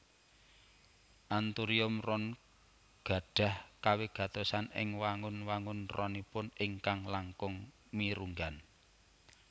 Anthurium ron gadhah kawigatosan ing wangun wangun ronipun ingkang langkung mirunggan